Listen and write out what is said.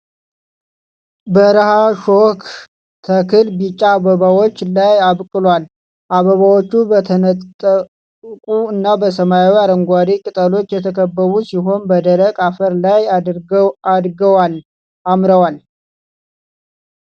በረሃ ሾክ ተክል ቢጫ አበባዎችን ላይ አብቅሏል። አበባዎቹ በተነጠቁ እና በሰማያዊ አረንጓዴ ቅጠሎች የተከበቡ ሲሆኑ፣ በደረቅ አፈር ላይ አድገዋል አምረዋል።